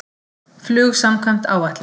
Flug samkvæmt áætlun